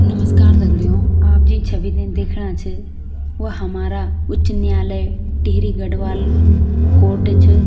नमस्कार दगडियों आप जि छवी थे दिखणा छ व हमारा उच्च न्यायालय टिहरी गढ़वाल कोर्ट च।